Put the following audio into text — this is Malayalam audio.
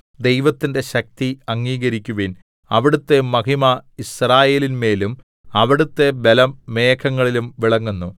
ദൈവത്തിന്റെ ശക്തി അംഗീകരിക്കുവിൻ അവിടുത്തെ മഹിമ യിസ്രായേലിന്മേലും അവിടുത്തെ ബലം മേഘങ്ങളിലും വിളങ്ങുന്നു